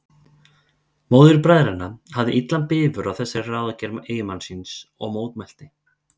Móðir bræðranna hafði illan bifur á þessari ráðagerð eiginmanns síns og mótmælti.